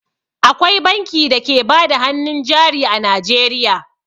Akwai banki da ke bada hannun jari a Najeriya.